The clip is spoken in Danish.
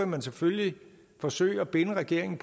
man selvfølgelig forsøge at binde regeringen